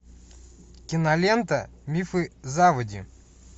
кинолента мифы заводи